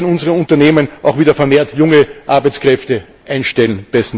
Dann werden unsere Unternehmen auch wieder vermehrt junge Arbeitskräfte einstellen.